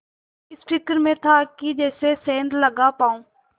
इस फिक्र में था कि कैसे सेंध लगा पाऊँ